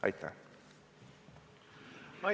Aitäh!